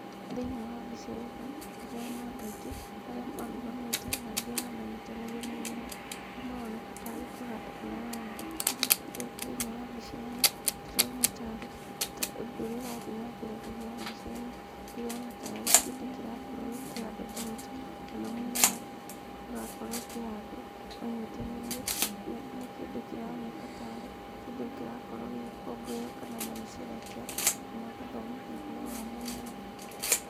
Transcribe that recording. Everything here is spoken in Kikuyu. Thĩinĩ wa mbica ĩno, ndĩrona andũ aingĩ, arĩa marũgamĩte, na angĩ haha manyitanĩire mũmera, ũrĩa maroneka ta arĩ kũhanda marahanda. Thĩiniĩ wa mbica ĩno, ndĩrona taarĩ ũndũ ũrĩa ũrathiĩ na mbere thĩiniĩ wa mbica ĩno, ndĩrona tarĩ kĩndũ kĩrakorwo gĩkĩhandwo ta mũtĩ, kana mũmera ũrakorwo ũkĩhandwo, manyitanĩire. Nĩ kĩndũ kĩroneka tarĩ kĩndũ kĩrakorwo gĩgĩkũngũĩrwo kana maracerehekea, kana gũthomithio ũhoro wa mũmera.